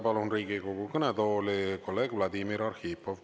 Palun Riigikogu kõnetooli kolleeg Vladimir Arhipovi.